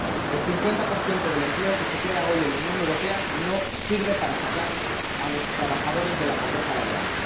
El 50 del empleo que se crea hoy en la Unión Europea no sirve para sacar a los trabajadores de la pobreza laboral.